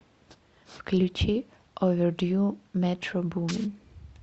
включи овердью метро бумин